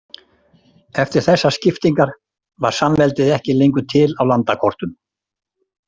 Eftir þessar skiptingar var samveldið ekki lengur til á landakortum.